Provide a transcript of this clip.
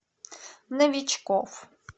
новичков